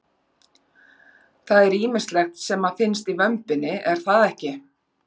Það er ýmislegt sem að finnst í vömbinni er það ekki?